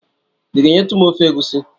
I ga-enyetụ m ofe egusi?